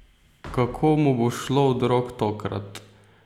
Kako mu bo šlo od rok tokrat?